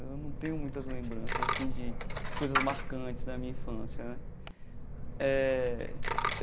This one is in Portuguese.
Eu não tenho muitas lembranças assim de coisas marcantes da minha infância eh.